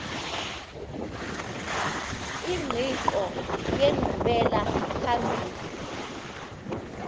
ingqiqo yenkqubela phambili